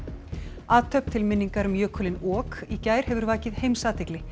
athöfn til minningar um jökulinn ok í gær hefur vakið heimsathygli